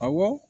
Awɔ